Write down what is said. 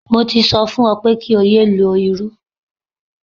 Mo ti sọ fún ọ wípé kí o yé lo irú.